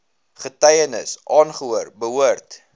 getuienis aangehoor behoort